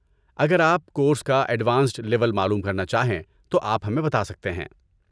اگر آپ کورس کا ایڈوانسڈ لیول معلوم کرنا چاہیں تو آپ ہمیں بتا سکتے ہیں۔